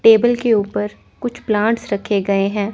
Table के ऊपर कुछ प्लांट्स रखे गए हैं।